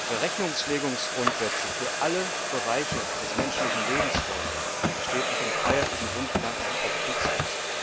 Wer Rechnungslegungsgrundsätze für alle Bereiche des menschlichen Lebens fordert, steht mit dem freiheitlichen Grundgedanken auf Kriegsfuß.